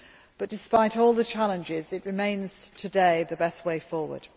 But despite all the challenges it remains today the best way forward.